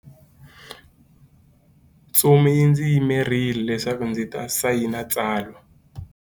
Ntsumi yi ndzi yimerile leswaku ndzi ta sayina tsalwa.